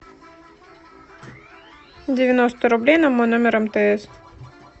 девяносто рублей на мой номер мтс